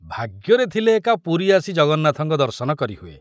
ଭାଗ୍ୟରେ ଥିଲେ ଏକା ପୁରୀ ଆସି ଜଗନ୍ନାଥଙ୍କର ଦର୍ଶନ କରି ହୁଏ!